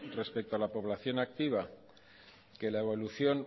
respecto a la población activa que la evolución